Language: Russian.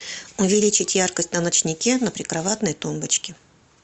увеличить яркость на ночнике на прикроватной тумбочке